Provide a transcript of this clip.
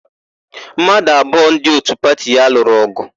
Mmadụ abụọ ndị òtú pati ya lụrụ ọgụ.